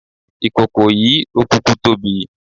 Ìkòkò yìí ló kúkú tóbi.